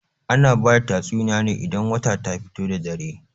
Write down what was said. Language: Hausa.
Ana bada tatsuniya ne idan wata ta fito da dare.